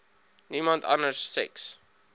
niemand anders seks